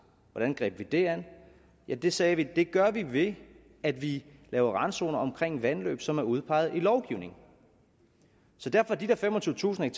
hvordan greb vi det an ja vi sagde det gør vi ved at vi laver randzoner omkring vandløb som er udpeget i lovgivningen så derfor er de der femogtyvetusind